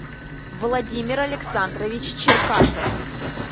владимир александрович черкасов